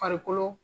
Farikolo